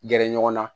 Gɛrɛ ɲɔgɔn na